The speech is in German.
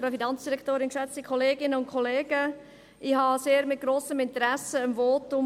Ich habe dem Votum des Motionärs mit grossem Interesse zugehört.